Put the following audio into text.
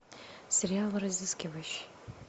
сериал разыскивающий